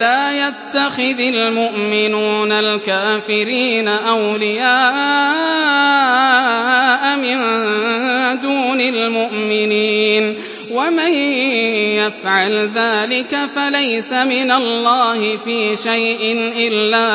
لَّا يَتَّخِذِ الْمُؤْمِنُونَ الْكَافِرِينَ أَوْلِيَاءَ مِن دُونِ الْمُؤْمِنِينَ ۖ وَمَن يَفْعَلْ ذَٰلِكَ فَلَيْسَ مِنَ اللَّهِ فِي شَيْءٍ إِلَّا